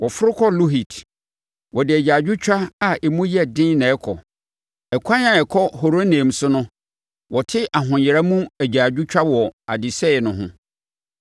Wɔforo kɔ Luhit, wɔde agyaadwotwa a emu yɛ den na ɛrekɔ; ɛkwan a ɛkɔ Horonaim so no wɔte ahoyera mu agyaadwotwa wɔ adesɛeɛ no ho.